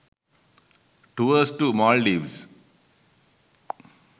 tours to maldives